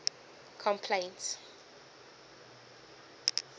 complaints